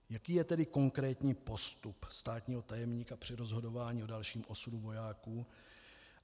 Jaký je tedy konkrétní postup státního tajemníka při rozhodování o dalším osudu vojáků?